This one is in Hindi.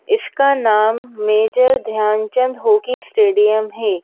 इसका नाम मेजर ध्यानचंद हॉकी स्टेडियम है।